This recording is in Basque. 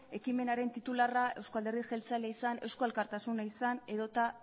ekimenaren titularra euzko alderdi jeltzalea izan eusko alkartasuna izan edota